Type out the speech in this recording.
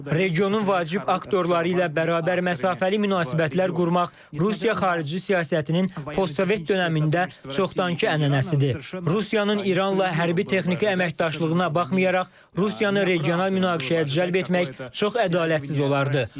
Regionun vacib aktorları ilə bərabər məsafəli münasibətlər qurmaq Rusiya xarici siyasətinin postsovet dönəmində çoxdankı ənənəsidir.